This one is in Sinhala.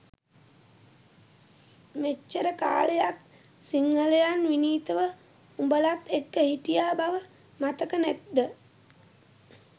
මෙච්චර කාලයක් සිංහලයන් විනීතව උඔලත් එක්ක හිටිය බව මතක නැත්ද?